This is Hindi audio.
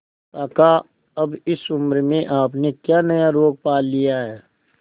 काका अब इस उम्र में आपने क्या नया रोग पाल लिया है